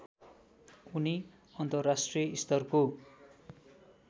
उनी अन्तर्राष्ट्रिय स्तरको